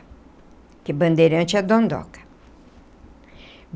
Porque bandeirante é dondoca.